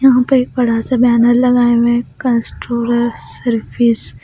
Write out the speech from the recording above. यहां पर एक बड़ा सा बैनर लगाया हुआ है कंस्ट्रोलर सर्विस --